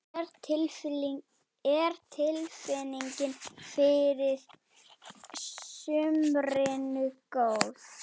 Er tilfinningin fyrir sumrinu góð?